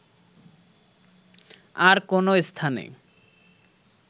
আর কোনো স্থানে